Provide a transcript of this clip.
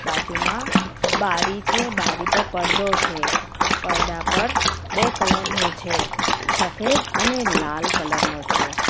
બાજુમાં બારી છે બારી પર પડદો છે પડદા પર બે કલર નો છે સફેદ અને લાલ કલર નો છે.